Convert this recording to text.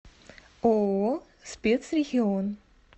ооо спецрегион